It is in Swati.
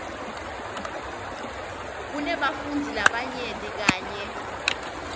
kunebafundzi labanyenti kanye